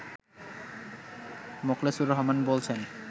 মোখলেসুর রহমান বলছেন